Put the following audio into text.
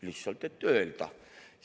Lihtsalt, et öelda.